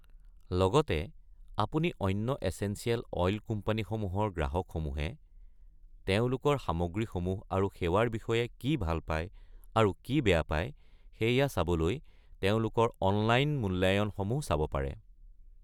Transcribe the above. লগতে আপুনি অন্য এচেঞ্চিয়েল অইল কোম্পানীসমূহৰ গ্ৰাহকসমূহে তেওঁলোকৰ সামগ্ৰীসমূহ আৰু সেৱাৰ বিষয়ে কি ভাল পায় আৰু কি বেয়া পায় সেইয়া চাবলৈ তেওঁলোকৰ অনলাইন মূল্যায়নসমূহ চাব পাৰে।